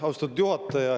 Austatud juhataja!